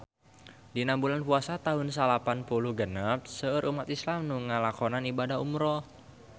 Dina bulan Puasa taun salapan puluh genep seueur umat islam nu ngalakonan ibadah umrah